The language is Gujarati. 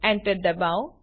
enter દબાવો